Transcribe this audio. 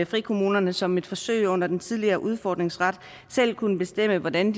frikommunerne som et forsøg under den tidligere udfordringsret selv kunne bestemme hvordan